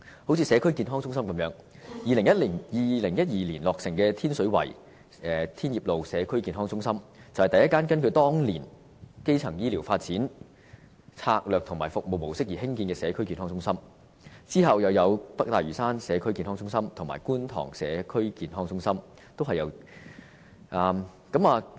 正如社區健康中心一樣 ，2012 年落成的天水圍社區健康中心，是第一間根據當年基層醫療發展策略和服務模式而興建的社區健康中心，之後又有北大嶼山社區健康中心和觀塘社區健康中心，均是由......